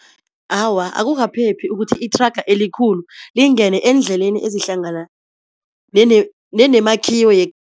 Awa akukaphephi ukuthi ithraga elikhulu lingene eendleleni ezihlangana nenemakhiwo